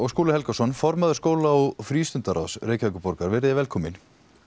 Skúli Helgason formaður skóla og Reykjavíkurborgar velkomin